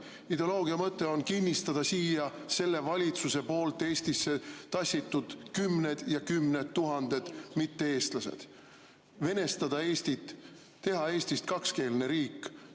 Ideoloogia mõte on kinnistada siia Eestisse tassitud kümned ja kümned tuhanded mitte‑eestlased, venestada Eestit, teha Eestist kakskeelne riik.